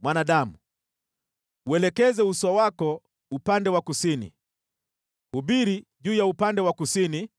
“Mwanadamu, uelekeze uso wako upande wa kusini, hubiri juu ya upande wa kusini